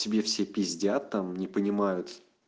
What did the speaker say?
тебе все пиздят там не понимают